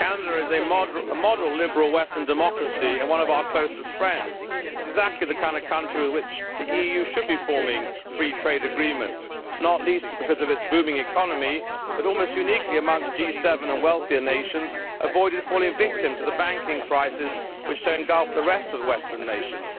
Mr President, Canada is a model liberal Western democracy and one of our closest friends. It is exactly the kind of country with which the EU should be forming free trade agreements, not least because of its booming economy, but almost uniquely amongst G7 and wealthier nations it avoided falling victim to the banking crisis which then engulfed the rest of the Western nations.